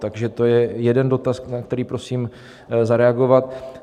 Takže to je jeden dotaz, na který prosím zareagovat.